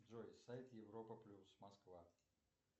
джой сайт европа плюс москва